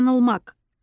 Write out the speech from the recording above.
Yanılmaq.